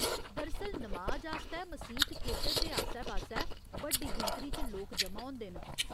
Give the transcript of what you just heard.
दरअसल, नमाज आस्तै मसीत खेतर दे आस्सै पास्सै बड्डी गिनतरी च लोक ज'मा होंदे न।